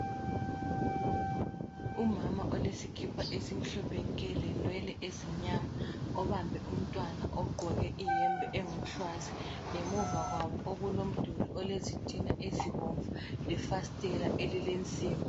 Umama olesikipa esimhlophe nke lenwele ezimnyama. Obambe umntwana ogqoke iyembe engumhlwazi, ngemuva kwabo okulomduli olezitina ezibomvu, lefastela elilensimbi.